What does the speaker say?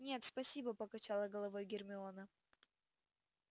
нет спасибо покачала головой гермиона